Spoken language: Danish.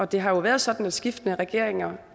det har været sådan at skiftende regeringer